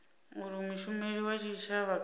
uri mushumeli wa tshitshavha kana